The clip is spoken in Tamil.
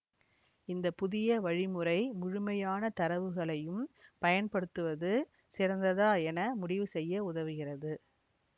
இந்த புதிய வழிமுறை முழுமையான தரவுகளையும் பயன்படுத்துவது சிறந்ததா என முடிவு செய்ய உதவுகிறது